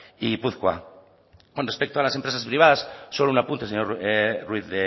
y gipuzkoa con respecto a las empresas privadas solo un apunte señor ruiz